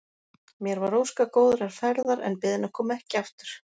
Mér var óskað góðrar ferðar en beðin að koma ekki aftur.